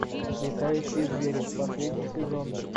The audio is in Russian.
летающие звери последний сезон